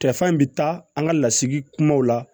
Tɛfan in bi taa an ka lasigi kumaw la